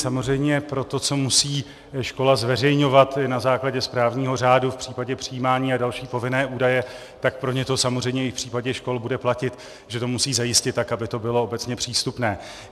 Samozřejmě pro to, co musí škola zveřejňovat na základě správního řádu v případě přijímání a další povinné údaje, tak pro ně to samozřejmě i v případě škol bude platit, že to musí zajistit tak, aby to bylo obecně přístupné.